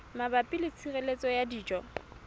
mabapi le tshireletso ya dijo